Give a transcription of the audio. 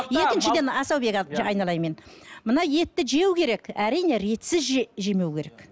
екіншіден асаубек айналайын мен мына етті жеу керек әрине ретсіз жемеу керек